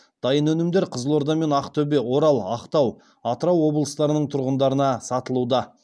дайын өнімдер қызылорда мен ақтөбе орал ақтау атырау облыстарының тұрғындарына сатылуда